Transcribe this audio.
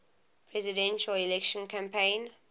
presidential election campaign